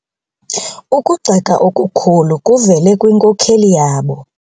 Ukugxeka okukhulu kuvele kwinkokeli yabo.